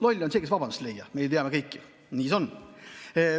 Loll on see, kes vabandusi ei leia, me teame ju kõik, et nii see on.